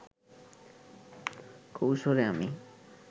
কৈশোরে আমি